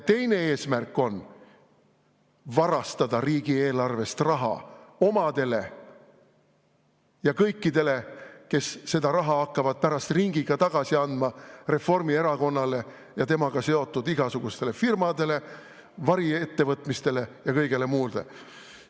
Teine eesmärk on varastada riigieelarvest raha omadele ja kõikidele, kes seda raha hakkavad pärast ringiga tagasi andma Reformierakonnale ja temaga seotud igasugustele firmadele, variettevõtmistele ja kõigele muule.